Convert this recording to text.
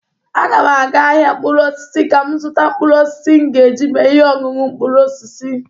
Aga m aga ahịa mkpụrụosisi ka m zụta mkpụrụosisi m ga-eji mee ihe oñuñu mkpụrụosisi.